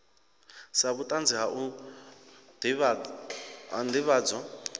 sa vhutanzi ha u ndivhadzo